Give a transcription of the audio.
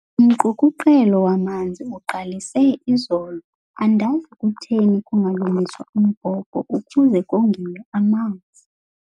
Umqukuqelo wamanzi uqalise izolo andazi kutheni kungalungiswa umbhobho ukuze kongiwe amanzi.